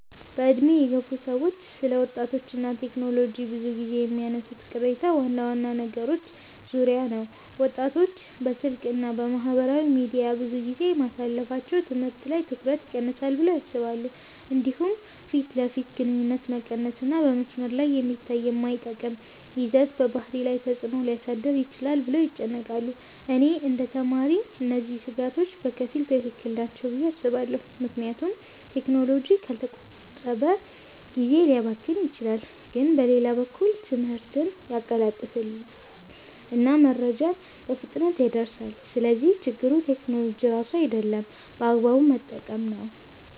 በዕድሜ የገፉ ሰዎች ስለ ወጣቶች እና ቴክኖሎጂ ብዙ ጊዜ የሚያነሱት ቅሬታ ዋና ዋና ነገሮች ዙሪያ ነው። ወጣቶች በስልክ እና በማህበራዊ ሚዲያ ብዙ ጊዜ ማሳለፋቸው ትምህርት ላይ ትኩረት ይቀንሳል ብለው ያስባሉ። እንዲሁም ፊት ለፊት ግንኙነት መቀነስ እና በመስመር ላይ የሚታይ የማይጠቅም ይዘት በባህሪ ላይ ተፅዕኖ ሊያሳድር ይችላል ብለው ይጨነቃሉ። እኔ እንደ ተማሪ እነዚህ ስጋቶች በከፊል ትክክል ናቸው ብዬ አስባለሁ፣ ምክንያቱም ቴክኖሎጂ ካልተቆጠበ ጊዜ ሊያባክን ይችላል። ግን በሌላ በኩል ትምህርትን ያቀላጥፋል እና መረጃን በፍጥነት ያደርሳል። ስለዚህ ችግሩ ቴክኖሎጂ ራሱ አይደለም፣ በአግባቡ መጠቀም ነው።